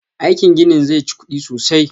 Aikin ginin zai chi kuɗi sosai